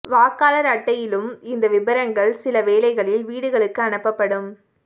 வாக்காளர் அட்டையிலும் இந்த விபரங்கள் சில வேளைகளில் வீடுகளுக்கு அனுப்பப்படும்